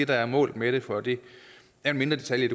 der er målet med det for det er en mindre detalje